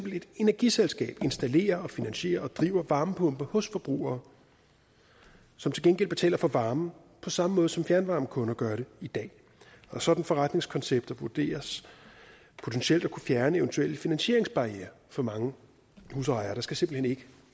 et energiselskab installerer finansierer og driver varmepumper hos forbrugere som til gengæld betaler for varmen på samme måde som fjernvarmekunder gør det i dag sådanne forretningskoncepter vurderes potentielt at kunne fjerne eventuelle finansieringsbarrierer for mange husejere der skal simpelt hen ikke